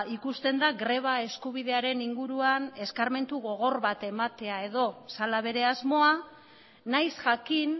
ikusten da greba eskubidearen inguruan eskarmentu gogor bat ematea edo zela bere asmoa nahiz jakin